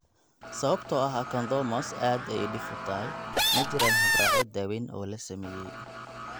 Sababtoo ah acanthomas aad ayey dhif u tahay, ma jiraan habraacyo daweyn oo la sameeyay.